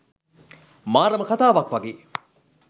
මාරම කතාවක් වගේ.